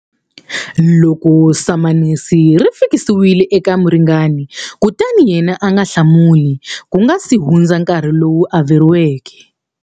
Loko samanisi ri fikisiwile eka muringani kutani yena a nga hlamuli ku nga si hundza nkarhi lowu averiweke.